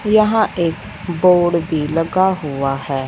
यहां एक बोर्ड भी लगा हुआ हैं।